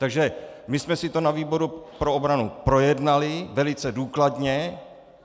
Takže my jsme si to na výboru pro obranu projednali velice důkladně.